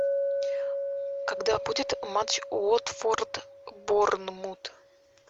когда будет матч уотфорд борнмут